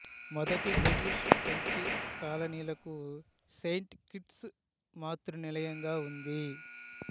మొదటి బ్రిటిష్ ఫ్రెంచి కాలనీలకు సెయింట్ కిట్స్ మాతృనిలయంగా ఉంది